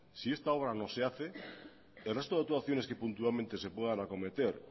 si esta obra no se hace el resto de actuaciones que puntualmente se puedan acometer